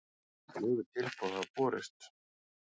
Fjögur tilboð hafa borist